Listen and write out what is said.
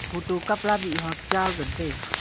photo kapla mihhok cha ngan taiga.